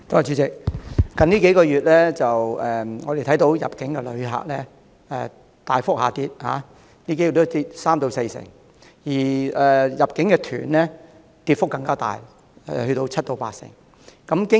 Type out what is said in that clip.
主席，近數月，我們看到入境旅客大幅下跌，人數已下跌三四成，而入境團的跌幅更大，達到七八成。